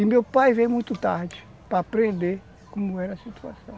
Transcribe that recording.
E meu pai veio muito tarde, para aprender como era a situação.